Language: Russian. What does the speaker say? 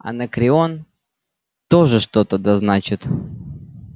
анакреон тоже что-то да значит